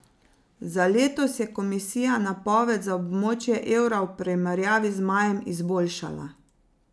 Za letos je komisija napoved za območje evra v primerjavi z majem izboljšala.